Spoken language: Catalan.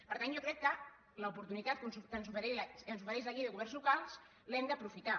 per tant jo crec que l’oportunitat que ens ofereix la llei de governs locals l’hem d’aprofitar